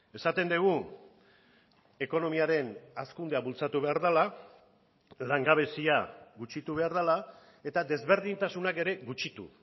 esaten dugu ekonomiaren hazkundea bultzatu behar dela langabezia gutxitu behar dela eta desberdintasunak ere gutxitu